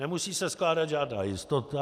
Nemusí se skládat žádná jistota.